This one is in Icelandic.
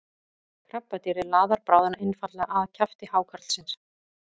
krabbadýrið laðar bráðina einfaldlega að kjafti hákarlsins